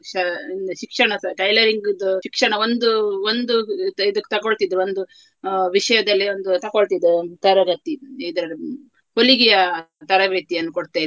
ಶಾ~ ಶಿಕ್ಷಣಸ tailoring ಇದ್ದು ಶಿಕ್ಷಣ ಒಂದು ಒಂದು ಇದ್~ ಇದಕ್ಕ್ ತಕೊಳ್ತಿದ್ರು ಒಂದು ಅಹ್ ವಿಷಯದಲ್ಲಿ ಒಂದು ತಕೊಳ್ತಿದ್ದದ್ದು ಒಂದು ತರಗತಿ ಇದ್ರಲ್ಲಿ ಹೊಲಿಗೆಯ ತರಬೇತಿಯನ್ನು ಕೊಡ್ತ ಇದ್ರು.